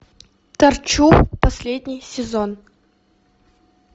торчу последний сезон